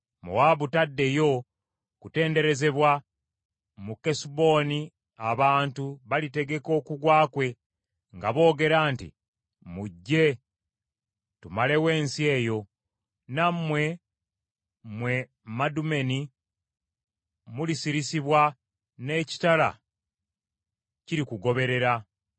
Mowaabu taddeyo kutenderezebwa; mu Kesuboni abantu balitegeka okugwa kwe, nga boogera nti, ‘Mujje, tumalewo ensi eyo.’ Nammwe, mmwe Madumeni mulisirisibwa, n’ekitala kirikugoberera.